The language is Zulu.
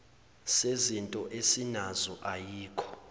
sezinto esinazo ayikho